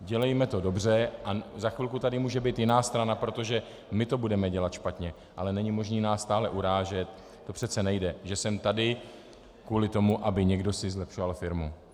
Dělejme to dobře a za chvilku tady může být jiná strana, protože my to budeme dělat špatně, ale není možné nás stále urážet, to přece nejde, že jsem tady kvůli tomu aby si někdo zlepšoval firmu.